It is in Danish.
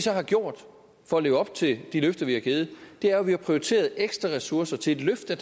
har gjort for at leve op til de løfter vi har givet er at vi har prioriteret ekstra ressourcer til at løfte